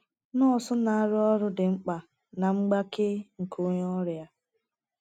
Nọọsụ na - arụ ọrụ dị mkpa ná mgbake nke onye ọrịa.